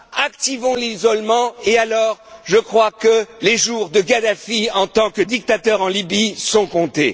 Activons l'isolement, et alors, je crois que les jours de Kadhafi, en tant que dictateur en Libye, seront comptés.